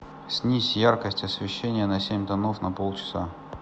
снизь яркость освещения на семь тонов на полчаса